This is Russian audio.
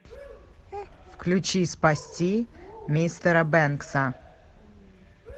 включи спасти мистера бэнкса